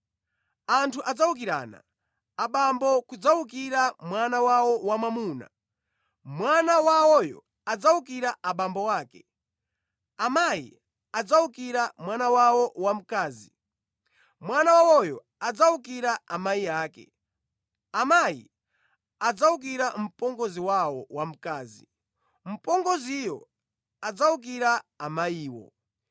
Anthu adzawukirana. Abambo kudzawukira mwana wawo wamwamuna, mwana wawoyo adzawukira abambo ake. Amayi adzawukira mwana wawo wamkazi, mwana wawoyo adzawukira amayi ake. Amayi adzawukira mpongozi wawo wamkazi, mpongoziyo adzawukira amayiwo.”